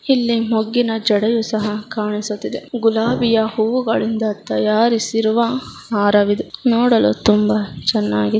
ಇಲ್ಲಿ ಮೊಗ್ಗಿನ ಜಡೆಯು ಸಹ ಕಾಣಿಸುತ್ತಾ ಇದೆ ಗುಲಾಬಿಯ ಹೂವುಗಳಿಂದ ತಯಾರಿಸಿರುವ ಹಾರವಿದು ನೋಡಲು ತುಂಬಾ ಚೆನ್ನಾಗಿ--